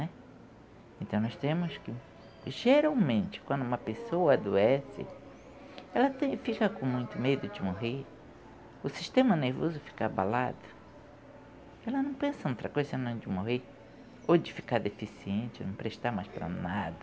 né. Então, nós temos que... Geralmente, quando uma pessoa adoece, ela tem fica com muito medo de morrer, o sistema nervoso fica abalado, ela não pensa em outra coisa, senão de morrer ou de ficar deficiente, não prestar mais para nada.